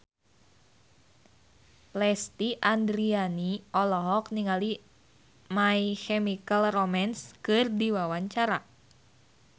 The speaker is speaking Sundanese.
Lesti Andryani olohok ningali My Chemical Romance keur diwawancara